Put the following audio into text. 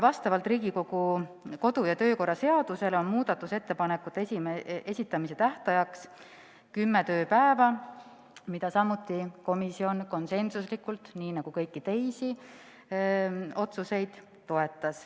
Vastavalt Riigikogu kodu- ja töökorra seadusele on muudatusettepanekute esitamise tähtajaks kümme tööpäeva, mida samuti komisjon konsensuslikult toetas nii nagu ka kõiki teisi otsuseid.